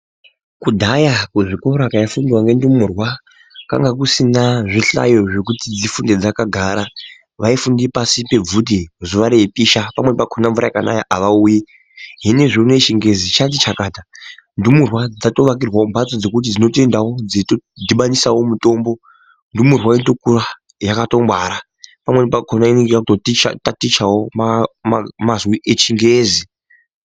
Kudhaya kuzvikora kwaifundwa ngendumurwa kwainga kusina zvihlayo zvekuti dzifunde dzakagara. Zvaifunda pashi pebvute zuwa reipisha pamweni pakona mvura yeinaya havauyi. Zvinezvbi unou chingezi chati chakata. Ndumurwa dzoakirwawo mhatso dzokuti dzoendawo dzeitodhibanisawo mutombo ndumurwa dzokura yakatongwara pamweni pakona yototatichawo manzwi echingezi.